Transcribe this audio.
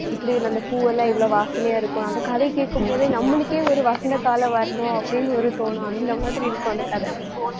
இப்படி இந்த பூவெல்லாம் இவ்வளவு வாசனையா இருக்கும். அந்த கதை கேட்கும் போது நம்மளுக்கே ஒரு வசந்த காலம் வரணும் அப்படின்னு ஒரு தோணும். அந்த மாதிரி இருக்கும் அந்த கதை